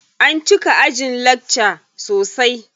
An cika ajin lakca sosai.